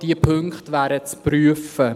Diese Punkte wären zu prüfen.